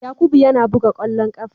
Yakubu yana buga kwallon kafa.